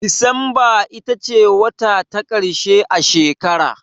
Disamba ita ce wata ta ƙarshe a shekara.